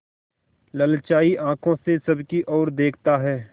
ललचाई आँखों से सबकी और देखता है